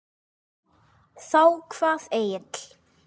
Þá kvað Egill